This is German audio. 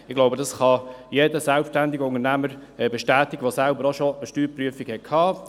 Ich glaube, das kann jeder selbstständige Unternehmer bestätigen, der selber auch schon einer Steuerprüfung unterzogen wurde.